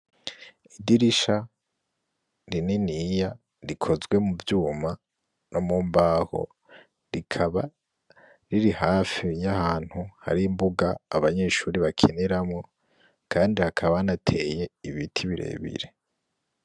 Idirisha rininiya rikozwe mu vyuma no mu mbaho, rikaba riri hafi y'ahantu hari imbuga abanyeshuri bakiniramwo kandi hakaba hanateye ibiti birebire.